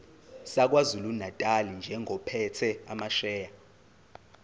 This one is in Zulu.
sakwazulunatali njengophethe amasheya